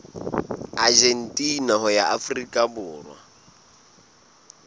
argentina ho ya afrika borwa